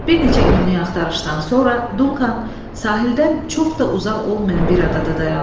Bir neçə günlük axtarışdan sonra Duncan sahildən çox da uzaq olmayan bir adada dayandı.